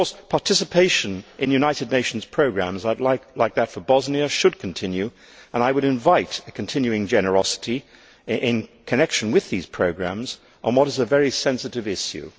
Participation in United Nations programmes, like that for Bosnia, should continue, and I would invite a continuing generosity in connection with these programmes on what is a very sensitive issue.